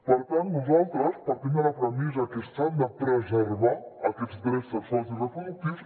per tant nosaltres partim de la premissa que s’han de preservar aquests drets sexuals i reproductius